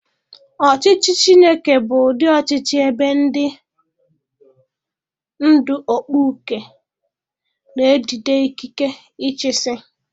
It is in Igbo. Ọchịchị Chineke bụ ụdị ọchịchị ebe ndị ndú okpukpe na-ejide ikike ịchịisi.